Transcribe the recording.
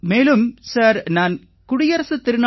மேலும் சார் நான் குடியரசுத் திருநாள்